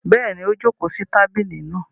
Bẹ́ẹ̀ni, ó jókòó sí tábìlì náa.